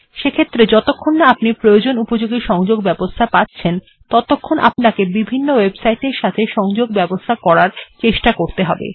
সেক্ষেত্রে যতক্ষণ না আপনি প্রয়জনোপযোগী সংযোগ ব্যবস্থা পাচ্ছেন ততক্ষণ আপনাকে বিভিন্ন ওএবসাইট এর এর সাথে সংযোগ করার চেষ্টা করতে হবে